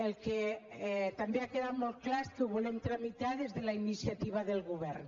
el que també ha quedat molt clar que ho volem tramitar des de la iniciativa del govern